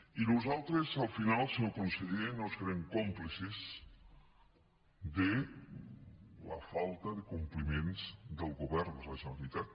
i nosaltres al final senyor conseller no serem còmplices de la falta de compliments del govern de la generalitat